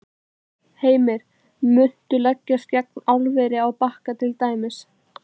Heimir: Muntu leggjast gegn álveri á Bakka til dæmis?